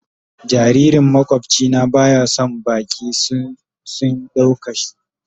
Jaririn makwabci na baya son baki sun dauka shi.